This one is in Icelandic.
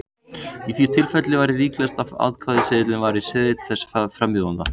Í því tilfelli væri líklegast að atkvæðaseðilinn væri seðill þess frambjóðanda.